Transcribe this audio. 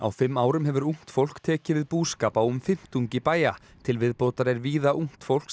fimm árum hefur ungt fólk tekið við búskap á um fimmtungi bæja til viðbótar er víða ungt fólk sem